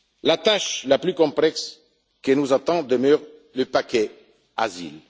La tâche la plus complexe qui nous attend demeure le paquet asile.